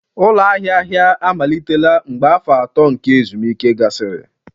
ụlọ ahịa ahịa amalitela mgbe afọ atọ nke ezumike gasịrị